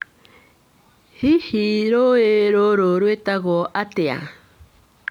Hihi rũũĩ rũrũ rwĩtagwo atĩa?